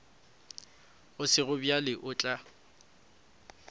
go sego bjalo o tla